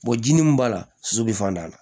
ji ni mun b'a la su be fanda